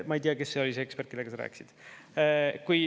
Ma ei tea, kes oli see ekspert, kellega sa rääkisid.